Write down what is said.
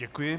Děkuji.